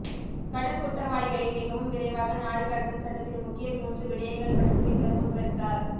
கடும் குற்றவாளிகளை மிகவும் விரைவாக நாடு கடத்தும் சட்டத்தின் முக்கிய மூன்று விடயங்கள் பற்றி பின்வரும் விபரித்தார்